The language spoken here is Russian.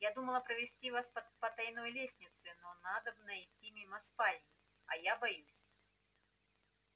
я думала провести вас по потаённой лестнице но надобно идти мимо спальни а я боюсь